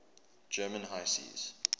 german high seas